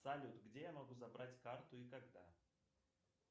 салют где я могу забрать карту и когда